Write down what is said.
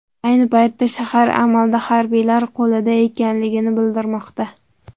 Ayni paytda shahar amalda harbiylar qo‘lida ekanligi bildirilmoqda.